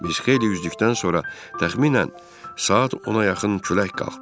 Biz xeyli üzdükdən sonra təxminən saat ona yaxın külək qalxdı.